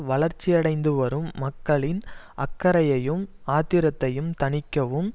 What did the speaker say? வளர்ச்சியடைந்து வரும் மக்களின் அக்கறையையும் ஆத்திரத்தையும் தணிக்கவும்